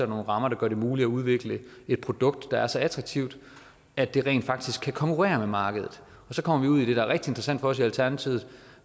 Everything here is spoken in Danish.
nogle rammer der gør det muligt at udvikle et produkt der er så attraktivt at det rent faktisk kan konkurrere med markedet så kommer vi ud i noget som er rigtig interessant for os i alternativet